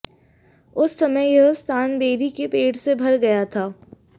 उस समय यह स्थान बेरी के पेड़ से भर गया था